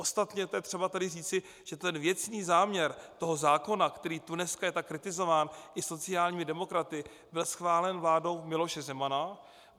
Ostatně to je třeba tady říci, že ten věcný záměr toho zákona, který tu dneska je tak kritizován i sociálními demokraty, byl schválen vládou Miloše Zemana.